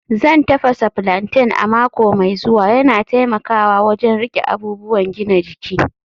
Zan tafasa plantain a mako mai zuwa, yana taimakawa wajen riƙe abubuwan gina jiki